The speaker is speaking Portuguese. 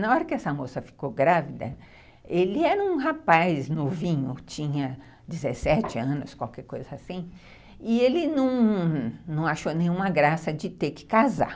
Na hora que essa moça ficou grávida, ele era um rapaz novinho, tinha dezessete anos, qualquer coisa assim, e ele não não achou nenhuma graça de ter que casar.